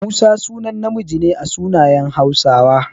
Musa sunan namiji ne a sunayen Hausawa.